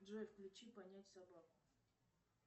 джой включи понять собаку